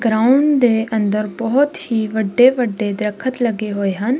Ground ਦੇ ਅੰਦਰ ਬਹੁਤ ਹੀ ਵੱਡੇ ਵੱਡੇ ਦਰਖਤ ਲੱਗੇ ਹੋਏ ਹਨ।